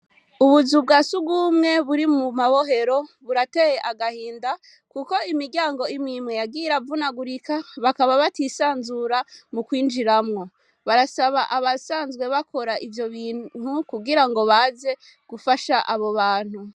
Ubuzu bwasugumwe buri mu mabohero burateye agahinda kuko imiryango imwe imwe yagiye iravuganurika bakaba batisanzura mukwinjiramwo, barasaba abasanzwe bakora ivyo bintu kugirango baze gufasha abo bantu.